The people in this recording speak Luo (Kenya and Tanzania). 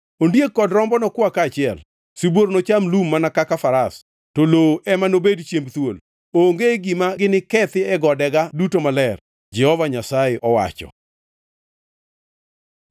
Ondiek kod rombo nokwa kaachiel, sibuor nocham lum mana kaka faras, to lowo ema nobed chiemb thuol. Onge gima ginikethi e godega duto maler,” Jehova Nyasaye owacho.